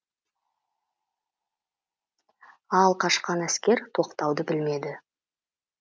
ал қашқан әскер тоқтауды білмеді